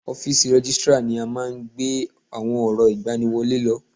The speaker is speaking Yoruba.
Ọ́físì Rẹ́gìstrar ni a máa ń gbé àwọn ọ̀rọ̀ ìgbani wọlé lọ